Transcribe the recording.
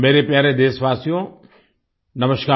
मेरे प्यारे देशवासियो नमस्कार